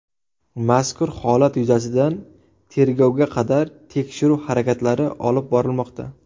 Mazkur holat yuzasidan tergovga qadar tekshiruv harakatlari olib borilmoqda.